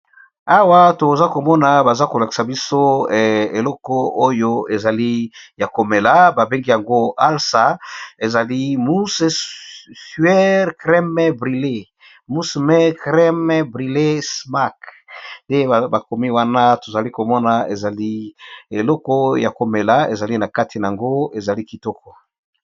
awa toza komona baza kolakisa biso eleko oyo ezali ya komela babengi yango alsa ezali mussuer kreme brilley musme kreme brilley smark nte bakomi wana tozali komona ezali eleko ya komela ezali na kati na yango ezali kitoko